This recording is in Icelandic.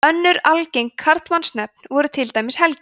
önnur algeng karlmannsnöfn voru til dæmis helgi